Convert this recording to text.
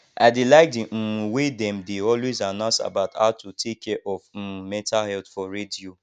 i dey like the um way dem dey always announce about how to take care of your um mental health for radio